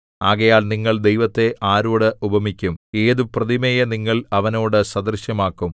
ആകയാൽ നിങ്ങൾ ദൈവത്തെ ആരോട് ഉപമിക്കും ഏതു പ്രതിമയെ നിങ്ങൾ അവനോട് സദൃശമാക്കും